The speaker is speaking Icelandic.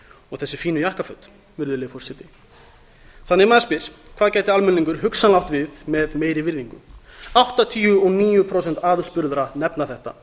og þessi fínu jakkaföt virðulegi forseti maður spyr því hvað gæti almenningur hugsanlega átt við með meiri virðingu áttatíu og níu prósent aðspurðra nefna þetta